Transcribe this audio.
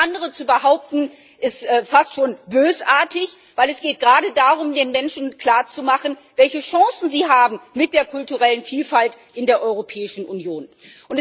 Alles andere zu behaupten, ist fast schon bösartig, denn es geht gerade darum, den Menschen klarzumachen, welche Chancen sie mit der kulturellen Vielfalt in der Europäischen Union haben.